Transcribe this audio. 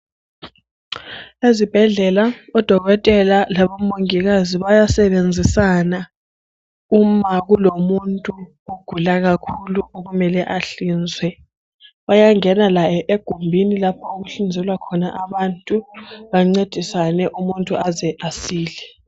ezibhedlela o dokotela abo mongikazi bayasebenzisana uma kulomuntu ogula kakhulu okumele ahlinzwe bayangena laye egumbini okuhlinzelwa khona abantu bancedisane umuntu aze asile